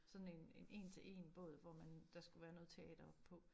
Sådan en en én til én båd hvor man der skulle være noget teater oppe på